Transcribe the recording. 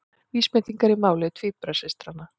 Vísbendingar í máli tvíburasystranna